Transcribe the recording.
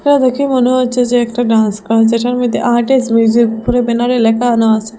ছবিটা দেখে মনে হচ্ছে যে একটা ডান্স ক্লাস যেটার মধ্যে আর্ট ইস মিউজিক করে ব্যানার -এ লেখানো আসে।